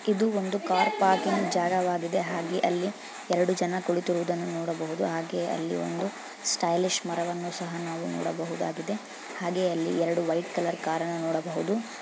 ಇದು ಒಂದು car parking ಜಾಗವಾಗಿದೆ ಹಾಗೆ ಅಲ್ಲಿ ಎರಡು ಜನ ಕುಳಿತಿರುವುದನ್ನು ನೋಡಬಹುದು ಹಾಗೆ ಅಲ್ಲಿ ಒಂದು ಸ್ಟೈಲಿಶ್ ಮರವನ್ನು ಸಹ ನಾವು ನೋಡಬಹುದಾಗಿದೆ. ಹಾಗೆ ಅಲ್ಲಿ ಎರಡು ವೈಟ್ ಕಲರ್ ಕಾರನ್ನು ನೋಡಬಹುದು.